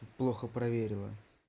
плохо проверила